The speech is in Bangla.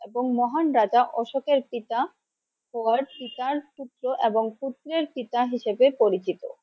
এবং মহান রাজা অশোকের পিতা পিতার পুত্র এবং পুত্রের পিতা হিসাবে পরিচিত।